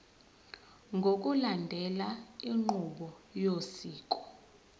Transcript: ngokulandela inqubo yosiko